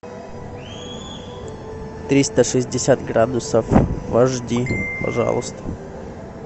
триста шестьдесят градусов в ашди пожалуйста